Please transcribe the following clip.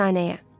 Tərsanəyə.